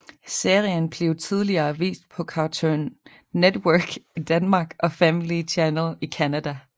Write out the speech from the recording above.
Serien blev tidligere vist på Cartoon Network i Danmark og Family Channel i Canada